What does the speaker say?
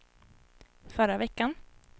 förra veckan